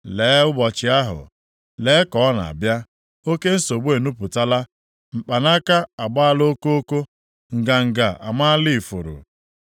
“ ‘Lee, ụbọchị ahụ! Lee, ka ọ na-abịa! Oke nsogbu enupụtala, mkpanaka agbala okoko nganga amaala ifuru! + 7:10 Ya bụ, na nganga na-abawanye